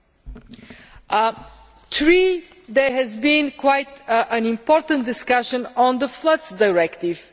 Thirdly, there has been quite an important discussion on the Floods Directive.